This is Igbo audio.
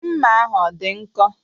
Mma ahụ ọ dị nkọ?